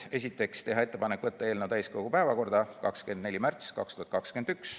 Esiteks, teha ettepanek võtta eelnõu täiskogu päevakorda 24. märtsiks 2021.